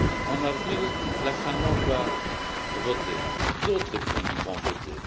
En avril, la Finlande va voter. D'autres pays vont voter.